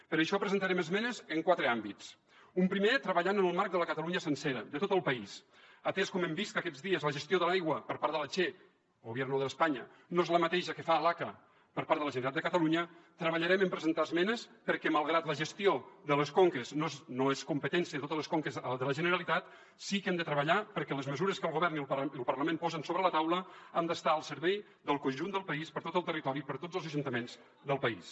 per això presentarem esmenes en quatre àmbits un primer treballant en el marc de la catalunya sencera de tot el país atès com hem vist aquests dies que la gestió de l’aigua per part de la che gobierno de españa no és la mateixa que fa l’aca per part de la generalitat de catalunya treballarem per presentar esmenes perquè malgrat que la gestió de les conques no és competència de totes les conques de la generalitat sí que hem de treballar perquè les mesures que el govern i el parlament posen sobre la taula han d’estar al servei del conjunt del país per a tot el territori i per a tots els ajuntaments del país